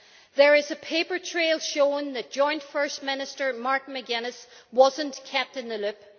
There is a paper trail showing that Joint First Minister Martin McGuinness was not kept in the loop.